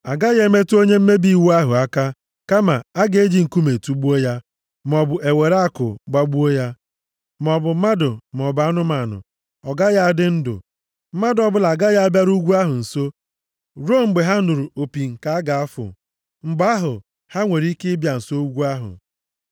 Agaghị emetụ onye mmebi iwu ahụ aka, kama, a ga-eji nkume tugbuo ya, maọbụ e were àkụ gbagbuo ya, maọbụ mmadụ maọbụ anụmanụ, ọ gaghị adị ndụ. Mmadụ ọbụla agaghị abịaru ugwu ahụ nso, ruo mgbe ha nụrụ opi nke a ga-afụ. Mgbe ahụ, ha nwere ike bịa nso ugwu ahụ.” + 19:13 Erọn na ụmụ ya ndị ikom abụọ, na iri ndị okenye Izrel asaa ahụ nwere ike irigoro ugwu ahụ. \+xt Ọpụ 24:1,9-10.\+xt*